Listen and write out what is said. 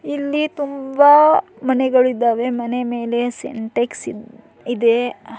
ಇಲ್ಲಿ ತುಂಬಾ ಮನೆಗಳು ಇದ್ದವೇ ಮನೆ ಮೇಲೆ ಸಿಂಟ್ಯಾಕ್ಸ್ ಇದೆ --